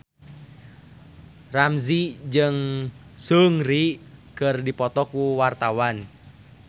Ramzy jeung Seungri keur dipoto ku wartawan